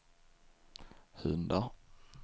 hundar